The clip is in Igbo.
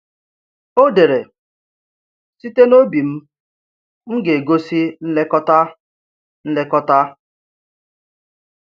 O dere: Site n’obi m, m ga-egosi nlekọta. nlekọta.